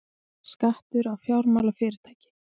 Skattur á fjármálafyrirtæki